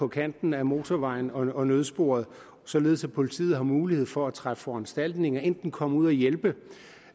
kanten af motorvejen og i nødsporet således at politiet har mulighed for at træffe foranstaltninger enten komme ud og hjælpe